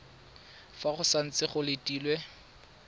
fa go santse go letilwe